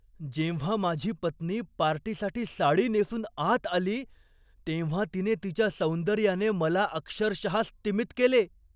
जेव्हा माझी पत्नी पार्टीसाठी साडी नेसून आत आली तेव्हा तिने तिच्या सौंदर्याने मला अक्षरशः स्तिमित केले.